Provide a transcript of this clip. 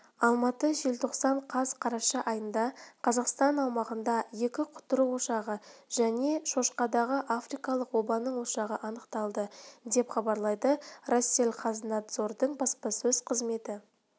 алматы желтоқсан қаз қараша айында қазақстан аумағында екі құтыру ошағы және шошқадағы африкалық обаның ошағы анықталды деп хабарлайды россельхознадзордың баспасөз қызметі